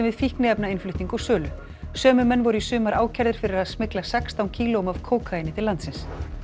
fíkniefnainnflutning og sölu sömu menn voru í sumar ákærðir fyrir að smygla sextán kílóum af kókaíni til landsins